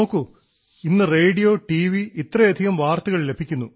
നോക്കൂ ഇന്ന് radio T V ഇത്രയധികം വാർത്തകൾ ലഭിക്കുന്നു